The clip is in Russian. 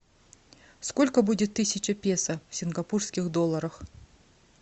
сколько будет тысяча песо в сингапурских долларах